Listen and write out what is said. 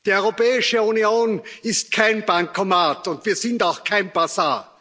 Die Europäische Union ist kein Bankomat, und wir sind auch kein Basar.